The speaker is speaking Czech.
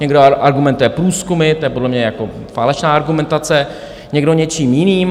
Někdo argumentuje průzkumy, to je podle mě jako falešná argumentace, někdo něčím jiným.